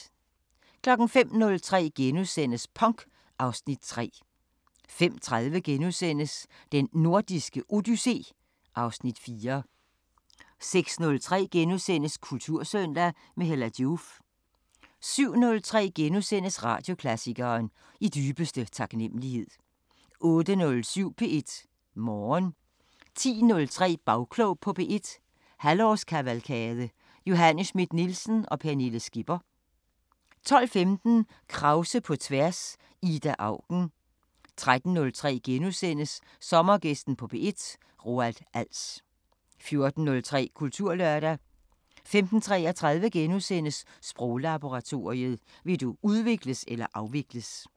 05:03: Punk (Afs. 3)* 05:30: Den Nordiske Odyssé (Afs. 4)* 06:03: Kultursøndag – med Hella Joof * 07:03: Radioklassikeren: I dybeste taknemmelighed * 08:07: P1 Morgen 10:03: Bagklog på P1- halvårskavalkade: Johanne Schmidt-Nielsen og Pernille Skipper 12:15: Krause på tværs: Ida Auken 13:03: Sommergæsten på P1: Roald Als * 14:03: Kulturlørdag 15:33: Sproglaboratoriet: Vil du udvikles eller afvikles? *